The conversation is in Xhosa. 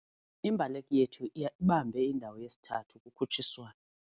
Imbaleki yethu ibambe indawo yesithathu kukhutshiswano.